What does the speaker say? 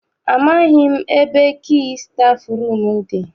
Amaghị m ebe kii stafụrum dị.